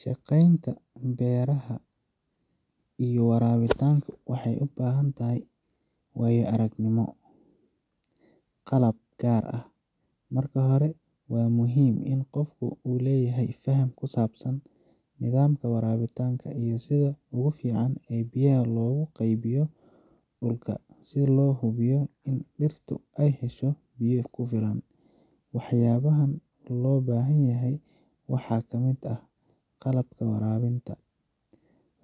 shaqeynaya beerihiisa isagoo sameynaya waraabinta, waxaad u baahan tahay waayo aragnimo iyo qalab gaar ah. Marka hore, waa muhiim in qofka uu leeyahay faham ku saabsan nidaamka waraabinta iyo sida ugu fiican ee biyaha loogu qaybin karo dhulka si loo hubiyo in dhirta ay helaan biyo ku filan. Waxyaabaha loo baahan yahay waxaa ka mid ah: Qalabka waraabinta: